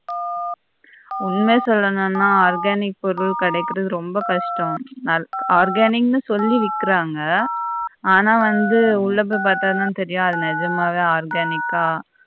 உண்மையா சொல்லனும்னா organic பொருள் கிடக்குறது ரொம்ப கஷ்டம் நல் organizing ன்னு சொல்லி விக்றாங்க ஆனா வந்து உள்ள போயி பார்த்தா தான் தெரியும் அது நெஜமாவே organic கா